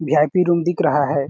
We I P room दिख रहा हैं।